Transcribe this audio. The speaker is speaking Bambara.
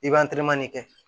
I b'an teriman de kɛ